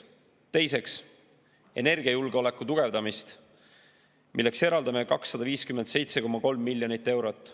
Teiseks, energiajulgeoleku tugevdamine, milleks eraldame 257,3 miljonit eurot.